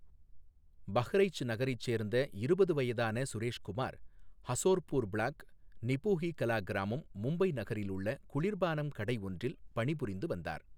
பஹ்ரைச் நகரைச் சேர்ந்த இருபது வயதான சுரேஷ்குமார் ஹசோர்பூர் பிளாக், நிபூஹி கலா கிராமம், மும்பை நகரில் உள்ள குளிர் பானம் கடை ஒன்றில் பணிபுரிந்து வந்தார்.